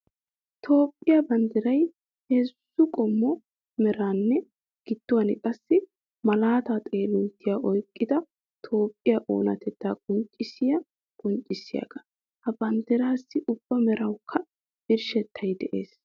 Toophphiya banddiray heezzu qommo meranne giduwan qassi malaata xoolinttiya oyqqidda Toophphiya oonatetta qonccissiya qonccissiyaga. Ha banddirassi ubba merawukka birshshettay de'ees.